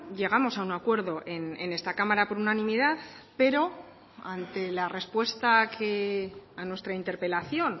llegamos a un acuerdo en esta cámara por unanimidad pero ante la respuesta que a nuestra interpelación